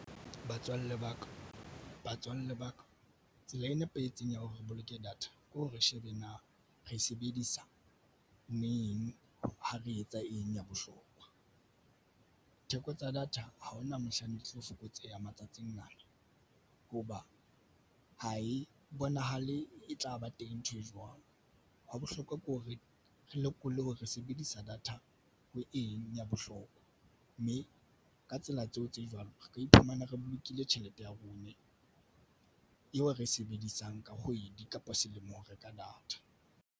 Batswalle baka batswalle ba ka tsela e nepahetseng ya hore re boloke data ke re shebe na re e sebedisa neng ha re etsa eng ya bohlokwa. Theko tsa data ha hona mohlang di tlo fokotseha matsatsing ana hoba ha e bonahale e tlaba teng ntho e jwang hwa bohlokwa ke ho re re lokollwe hore re se bedisa data. Ho eng ya bohlokwa mme ka tsela tseo tse jwalo re ka iphumana re bolokile tjhelete ya rona eo re e sebedisang ka kgwedi kapa selemo ho reka data.